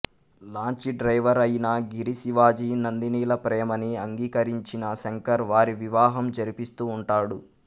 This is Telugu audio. లాంచీ డ్రైవర్ అయిన గిరి శివాజీ నందినిల ప్రేమని అంగీకరించిన శంకర్ వారి వివాహం జరిపిస్తూ ఉంటాడు